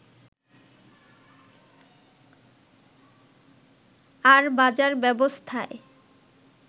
আর বাজার ব্যবস্থায়